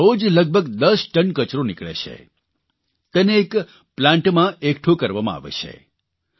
ત્યાં દરરોજ લગભગ 10 ટન કચરો નીકળે છે તેને એક પ્લાન્ટમાં એકઠો કરવામાં આવે છે